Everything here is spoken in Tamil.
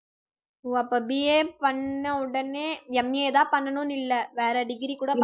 ஓ அப்ப BA பண்ண உடனே MA தான் பண்ணணும்னு இல்லை வேற degree கூட பண்ணல~